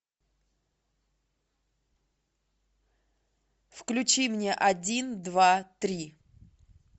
включи мне один два три